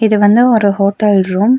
இது வந்து ஒரு ஹோட்டல் ரூம் .